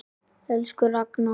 Elsku Ragna.